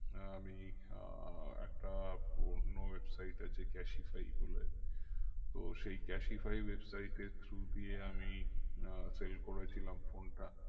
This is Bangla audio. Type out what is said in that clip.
আমি আহ একটা পুরোনো website আছে ক্যাসিফাই বলে তো সেই ক্যাসিফাই website এর through দিয়ে আমি আহ sell করেছিলাম phone টা